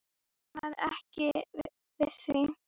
Hann varð ekki við því.